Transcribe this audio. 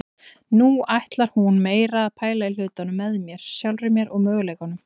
Nú ætlar hún meira að pæla í hlutunum með mér, sjálfri mér og möguleikunum.